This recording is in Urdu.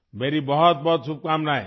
میری بہت بہت نیک خواہشات